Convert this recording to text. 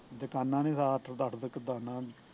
ਦੁਕਾਨਾਂ ਨੇ ਰਾਤ ਦੜ ਦੁੱਕ ਦਾਨਾ ਉਹਨੁ